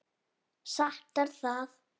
Satt er það.